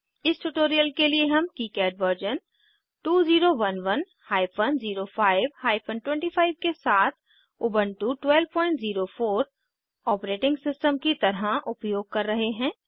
इस ट्यूटोरियल के लिए हम किकाड वर्जन 2011 हाइफन 05 हाइफन 25 के साथ उबन्टु 1204 ऑपरेटिंग सिस्टम की तरह उपयोग कर रहे हैं